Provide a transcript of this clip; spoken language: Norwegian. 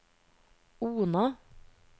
Ona